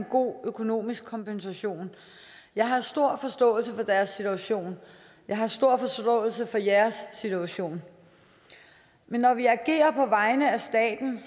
god økonomisk kompensation jeg har stor forståelse for deres situation jeg har stor forståelse for jeres situation men når vi agerer på vegne af staten